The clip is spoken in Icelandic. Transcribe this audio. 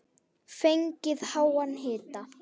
Fengið háan hita.